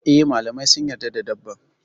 E, malamai sun yarda da dabban.